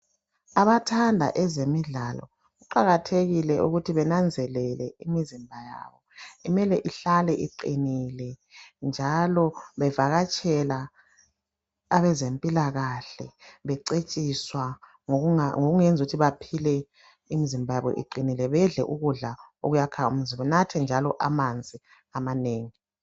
Abathanda ezemidlalo kuqakathekile ukuthi benanzelele imizimba yabo mele ihlale iqinile njalo bevakatshela abezempilakahle becetshiswa ngokungenza ukuthi baphile imizimba yabo iqinile bedle ukudla okuyakha umzimba benathe njalo amanzi amanengi.